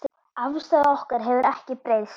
Afstaða okkar hefur ekki breyst.